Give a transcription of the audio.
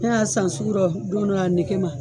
Ne y'a san sugurɔ don dɔ a nege ma